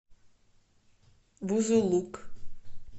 бузулук